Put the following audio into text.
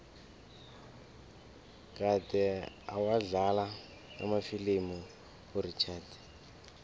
kade awadlala amafilimu urichard